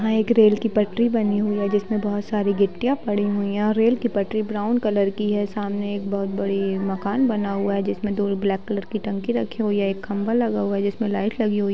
यहाँ एक रेल की पटरी बनी हुई है जिसमें बहुत सारी गिट्टियाँ पड़ी हुई हैं और रेल की पटरी ब्राउन कलर की है सामने एक बहुत बड़ी मकान बना हुआ है जिसमें दो ब्लैक कलर की टंकी रखी हुई है एक खम्भा लगा हुआ है जिसमें लाइट लगी हुई --